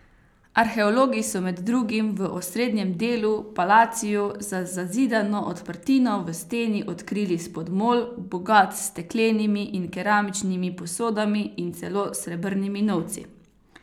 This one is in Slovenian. Arheologi so med drugim v osrednjem delu, palaciju, za zazidano odprtino v steni odkrili spodmol, bogat s steklenimi in keramičnimi posodami in celo srebrnimi novci.